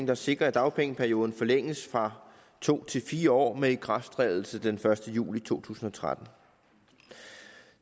der sikrer at dagpengeperioden forlænges fra to år til fire år med ikrafttrædelse den første juli to tusind og tretten